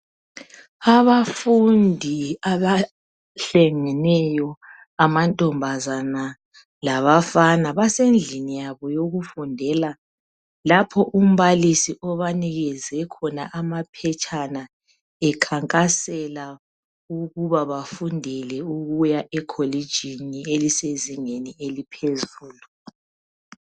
Abafundi abahlangeneyo amantombazana labafana basendlini yabo yokufundela lapha umbalisi obanikeze khona amaphetshana ekhankasela ukuba bafundela ukuya ekholitshini elisezingeni eliphezulu